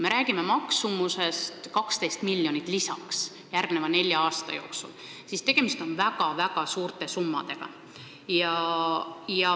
Me räägime 12 miljonist lisaeurost järgmise nelja aasta jooksul, seega tegemist on väga-väga suurte summadega.